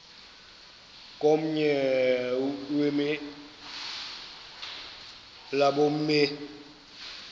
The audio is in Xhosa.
komnye wemilambo emi